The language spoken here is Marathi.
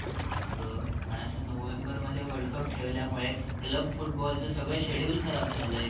आग पण असं नोव्हेंबरमध्ये world cup ठेवल्यामुळे club footballच सगळं schedule खराब झालये.